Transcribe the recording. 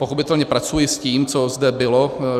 Pochopitelně pracuji s tím, co zde bylo.